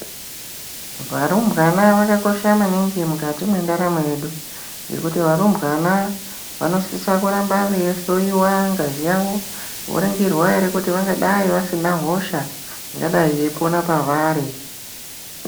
Varumbwana vakakosha maningi mukati mwendaramo yedu ngekuti varumbwana vanosise kuramba veihloyiwa ngazi yavo, voringirwa kuti dai vasina hosha ingadai yeipona pavari